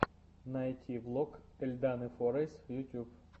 найти влог эльданы форайз эльданы форайс ютьюб